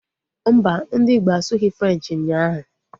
Mbà, ndị Igbo asughi Frenchi ụnyaahụ